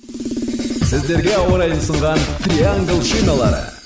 сіздерге ауа райын ұсынған триангл шиналары